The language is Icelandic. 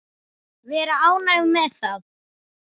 Vera ánægð með það.